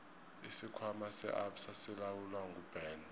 isikhwama se absa silawulwa nguben